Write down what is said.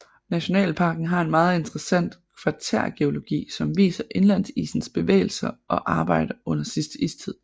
Nationalparken har en meget interessant kvartærgeologi som viser indlandsisens bevægelser og arbejde under sidste istid